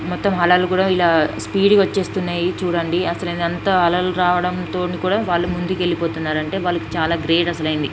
మొత్తం అలలు కూడా స్పీడ్ గా వచ్చేస్తున్నాయి చూడండి అసలు ఎంత అలలు రావడంతో వాళ్ళు ముందుకు వెళ్ళిపోతూ ఉన్నారు చాలా గ్రేట్ అసలైతే.